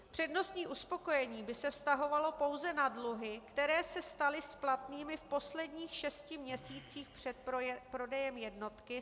Přednostní uspokojení by se vztahovalo pouze na dluhy, které se staly splatnými v posledních šesti měsících před prodejem jednotky.